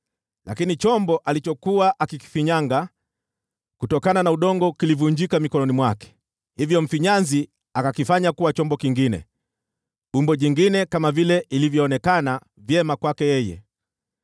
Lakini chombo alichokuwa akikifinyanga kutokana na udongo kilivunjika mikononi mwake, hivyo mfinyanzi akakifanya kuwa chombo kingine, umbo jingine kama vile ilivyoonekana vyema kwake yeye.